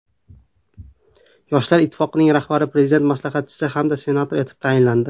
Yoshlar ittifoqining rahbari Prezident maslahatchisi hamda senator etib tayinlandi.